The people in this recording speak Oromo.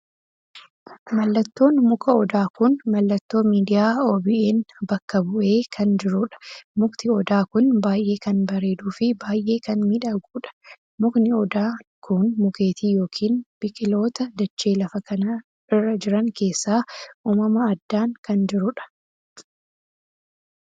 Mallattoon muka odaa kun mallattoo miidiyaa OBN bakka bu'ee kan jiruudha. mukti odaa kun baay'ee kan bareedduu fi baay'ee kan miidhaguudha. mukni odaan kun mukeetii ykn biqiloota dachee lafa kanaa irra jiran keessa uumama addaan kan jiruudha.